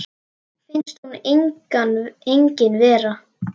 Finnst hún engin vera.